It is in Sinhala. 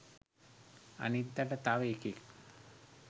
අනිද්දට තව එකෙක්